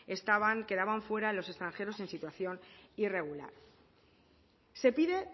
estaban quedaban fuera los extranjeros en situación irregular se pide